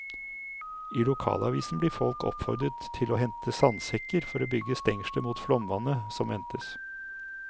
I lokalavisen blir folk oppfordret til å hente sandsekker for å bygge stengsler mot flomvannet som ventes.